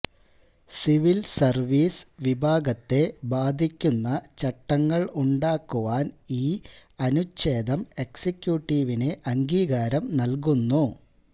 civil service വിഭാഗത്തെ ബാധിക്കുന്ന ചട്ടങ്ങൾ ഉണ്ടാക്കുവാൻ ഈ അനുച്ഛേദം എക്സിക്യൂട്ടീവിന് അംഗീകാരം നല്കുന്നു